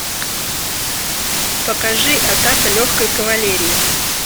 покажи атака легкой кавалерии